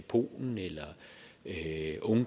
på en